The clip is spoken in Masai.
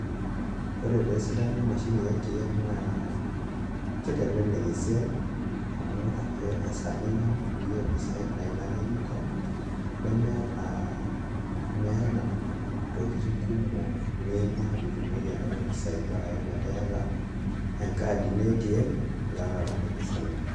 Ore taa esidano emashini e ATM naa kitelelek esiai amu ore ake esaa ninyamal peyie iyieu mpisaai naa ilo ake nintau nemeeta ntokitin kumok niimaa pee itumoki anoto mpisaai, bora ake metaa iata enkad ino e ATM ilo ake atum mpisaai inonok.